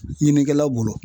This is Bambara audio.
Ɲininikɛlaw bolo